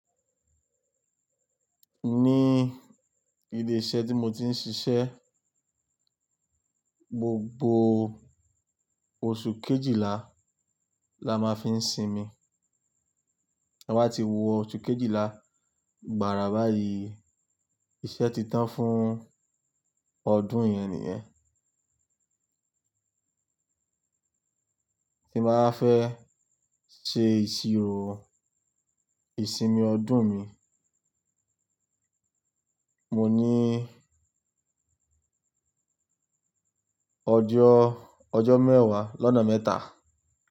Ní ilé-iṣẹ́ tí mo ti ń ṣiṣẹ́, gbogbo oṣù Kejìlá la máa fi ń sinmi. Ta bá ti wọ oṣù Kejìlá gbàrà báyìí, iṣẹ́ ti tán fún ọdún yẹn nìyẹn. Tí m bàá fẹ́ ṣe ìṣirò ìsinmi ọdún mi, mo ní ọjọ́, ọjọ́ mẹ́wàá lọ́na mẹ́ta.